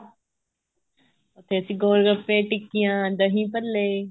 ਉੱਥੇ ਅਸੀਂ ਗੋਲ ਗੱਪੇ ਟਿੱਕੀਆਂ ਦਹੀਂ ਭੱਲੇ